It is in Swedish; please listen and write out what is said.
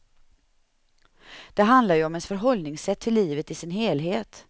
Det handlar ju om ens förhållningssätt till livet i sin helhet.